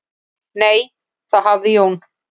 """Nei, þá hafði Jón"""